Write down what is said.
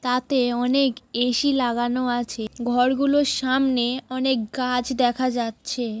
তাতে অনেক এ.সি. লাগানো আছে ঘর গুলোর সামনে অনেক গাছ দেখা যাচ্ছে।